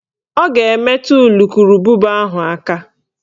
Ọ ga-emetu ulukurububa ahụ aka